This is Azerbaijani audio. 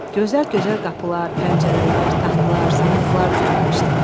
Gözəl-gözəl qapılar, pəncərələr, taxtlar, sandıqlar düzəltmişdi.